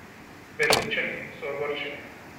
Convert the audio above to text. Berlinčani so ogorčeni.